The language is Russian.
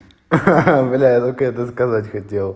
ха-ха бля я только это сказать хотел